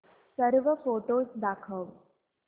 सर्व फोटोझ दाखव